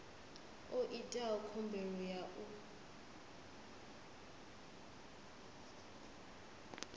o itaho khumbelo u ya